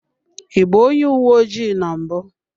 I bụ onye uwe ojii na mbụ.